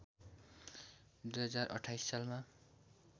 २०२८ सालमा